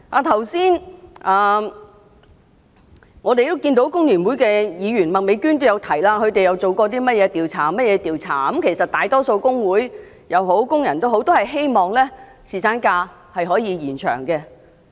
剛才，工聯會的麥美娟議員也提到他們進行過一些調查，而其實大多數工會和工人都希望延長侍產假。